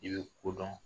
I bɛ ko dɔn